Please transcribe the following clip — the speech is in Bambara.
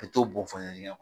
Ka t'o bɔn dingɛ kɔnɔ